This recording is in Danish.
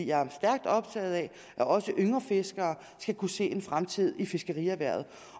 jeg er stærkt optaget af at også yngre fiskere skal kunne se en fremtid i fiskerierhvervet